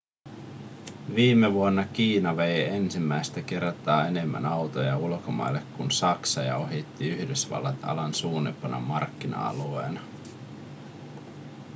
viime vuonna kiina vei ensimmäistä kertaa enemmän autoja ulkomaille kuin saksa ja ohitti yhdysvallat alan suurimpana markkina-alueena